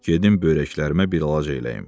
Gedim böyrəklərimə bir əlac eləyim.